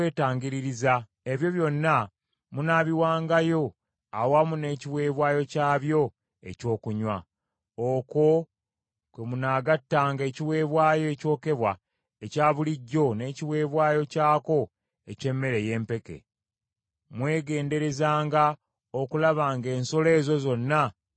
Ebyo byonna munaabiwangayo awamu n’ekiweebwayo kyabyo ekyokunywa; okwo kwe munaagattanga ekiweebwayo ekyokebwa ekya bulijjo n’ekiweebwayo kyako eky’emmere ey’empeke. Mwegenderezenga okulaba ng’ensolo ezo zonna teziriiko kamogo.”